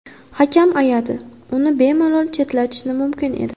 Hakam ayadi, uni bemalol chetlatishi mumkin edi.